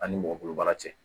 An ni mɔgɔ bolo baara cɛ